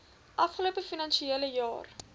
afgelope finansiële jaar